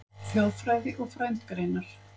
Þjóðfræði og frændgreinar